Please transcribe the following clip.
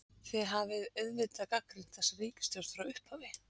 Þið hafið auðvitað gagnrýnt þessa ríkisstjórn frá upphafi?